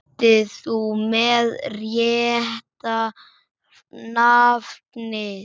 Ert þú með rétta nafnið?